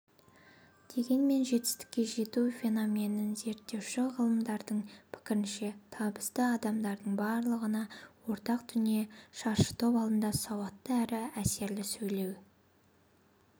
дегенмен жетістікке жету феноменін зерттеуші ғалымдардың пікірінше табысты адамдардың барлығына ортақ дүние шаршытоп алдында сауатты әрі әсерлі сөйлей